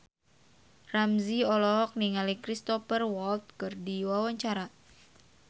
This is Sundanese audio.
Ramzy olohok ningali Cristhoper Waltz keur diwawancara